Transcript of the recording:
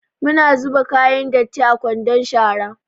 Muna zuba kayan datti a kwandon shara.